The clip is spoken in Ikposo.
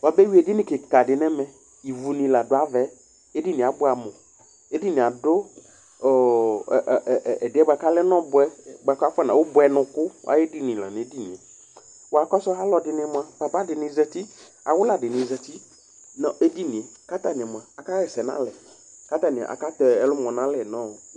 Wʋabeyʋi edini kikadɩ nʋ ɛmɛ kʋ ivu nɩ adʋ ava yɛ Edini yɛ abʋɛ amʋ Edini yɛ lɛ ʋbʋɛnʋkʋ ayʋ edini Papa dɩnɩ azǝtɩ, awʋla nɩ azǝtɩ, kʋ atani aka ɣɛsɛ nʋ alɛ Atani aka tɛ ɛlʋmɔ nʋ alɛ